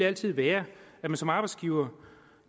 altid være at man som arbejdsgiver